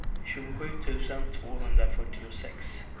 tjugosju tusen tvåhundrafyrtiosex